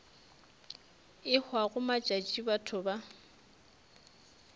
e hwago matšatši batho ba